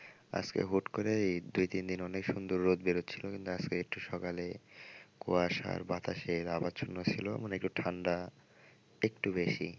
আজকে হুট করেই দুই-তিনদিন অনেক সুন্দর রোদ বের হচ্ছিল কিন্তু আজকে একটু সকালে কুয়াশার বাতাসের আবচ্ছন্ন ছিল মানে একটু ঠান্ডা একটু বেশি।